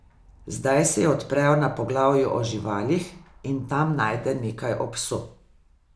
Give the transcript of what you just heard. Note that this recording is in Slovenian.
Zdaj se ji odprejo na poglavju o živalih in tam najde nekaj o psu.